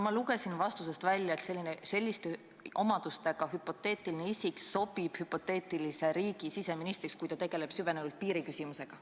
Ma lugesin teie vastusest välja, et selliste omadustega hüpoteetiline isik sobib hüpoteetilise riigi siseministriks, kui ta tegeleb süvenenult piiriküsimusega.